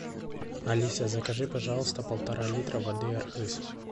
алиса закажи пожалуйста полтора литра воды архыз